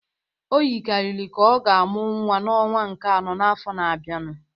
O yikarịrị ka ọ ga-amụ nwa n'ọnwa nke anọ n'afọ na-abịanụ